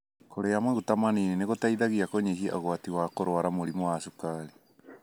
Kũrĩa maguta manini nĩgũteithagia kũnyihia ũgwati wa kũrwara mũrimũ wa cukari.